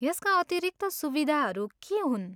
यसका अतिरिक्त सुविधाहरू के हुन्?